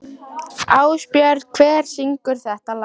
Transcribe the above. Ásbjörn, hver syngur þetta lag?